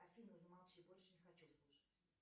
афина замолчи больше не хочу слушать